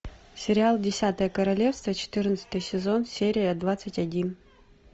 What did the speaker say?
сериал десятое королевство четырнадцатый сезон серия двадцать один